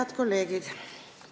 Head kolleegid!